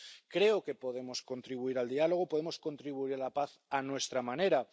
Creo que podemos contribuir al diálogo, podemos contribuir a la paz a nuestra manera.